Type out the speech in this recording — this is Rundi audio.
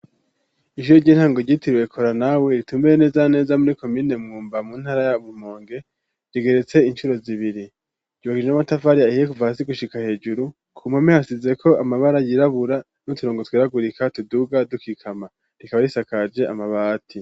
ijro ry'intango gitirwe kora nawe ritumbire neza neza muri komine mwumba mu ntara ya burmonge rigeretse inshuro zibiri gibogije n'amatavari ahiye kuva hasigushika hejuru ku mpome hasize ko amabara yirabura n'uturongo tweragurika tuduga dukikama rikaba risakaje amabati.